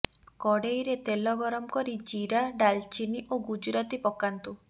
କରେଇରେ ତେଲ ଗରମ କରି ଜୀରା ଡଲଚିନି ଓ ଗୁଜୁରାତି ପକାନ୍ତୁ